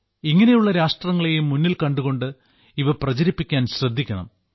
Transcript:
ഇങ്ങനെയുള്ള രാഷ്ട്രങ്ങളേയും മുന്നിൽ കണ്ടുകൊണ്ട് ഇവ പ്രചരിപ്പിക്കാൻ ശ്രദ്ധിക്കണം